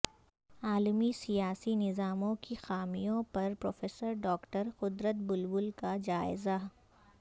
عالمی سیاسی نظاموں کی خامیوں پر پروفیسر ڈاکٹر قدرت بلبل کا جائزہ